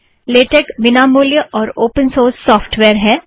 LaTeX विनामूल्य और open source software है